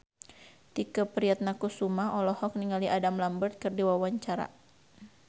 Tike Priatnakusuma olohok ningali Adam Lambert keur diwawancara